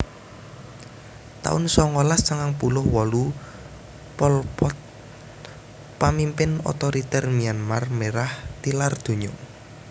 taun songolas sangang puluh wolu Pol Pot pamimpin otoriter Myanmar Merah tilar donya